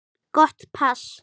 Gott pass.